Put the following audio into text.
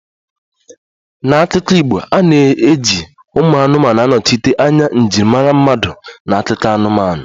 N'akụkọ Igbo, a na-eji ụmụ anụmanụ anọchite anya njirimara mmadụ n'akụkọ anụmanụ